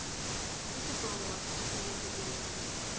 isibhongo wasikhiphela kubenade